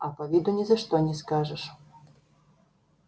а по виду ни за что не скажешь